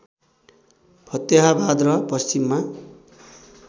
फतेहाबाद र पश्चिममा